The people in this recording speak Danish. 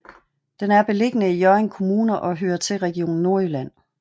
Den er beliggende i Hjørring Kommune og hører til Region Nordjylland